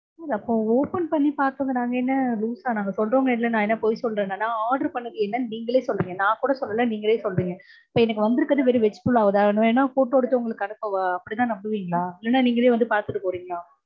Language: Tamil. அப்போ open பண்ணி பாத்தது நாங்க என்ன loose ஆ? நாங்க சொல்றவங்க என்ன நாங்க பொய் சொல்றேனா? நா order பண்ணது என்னனு நீங்களே சொல்றீங்க. நா கூட சொல்லல நீங்களே சொல்றீங்க. so எனக்கு வந்திருக்கறது வெறும் veg pulao தா. வேனுனா photo எடுத்து உங்களுக்கு அனுப்பவா? அப்படிதா நம்புவீங்களா? இல்ல நீங்களே வந்து பாத்துட்டு போறீங்களா?